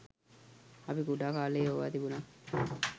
අපි කුඩා කාලයේ ඕවා තිබුනා.